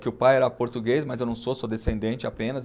Que o pai era português, mas eu não sou, sou descendente apenas.